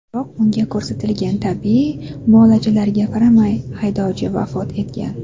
Biroq unga ko‘rsatilgan tibbiy muolajalarga qaramay, haydovchi vafot etgan.